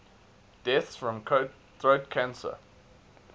deaths from throat cancer